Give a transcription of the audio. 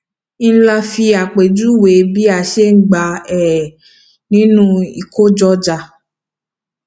ìlà fi àpèjúwe bí a ṣe gba um nínú ìkojọọjà